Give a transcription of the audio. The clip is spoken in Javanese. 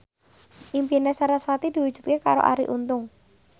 impine sarasvati diwujudke karo Arie Untung